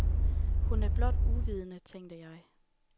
Hun er blot uvidende, tænkte jeg.